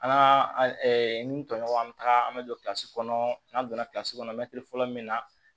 An ka ni n tɔɲɔgɔn an bɛ taga an bɛ don kilasi kɔnɔ n'an donna kɔnɔ mɛtiri fɔlɔ min na